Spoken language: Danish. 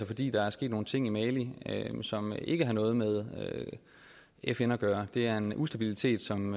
fordi der er sket nogle ting i mali som ikke har noget med fn at gøre det er en ustabilitet som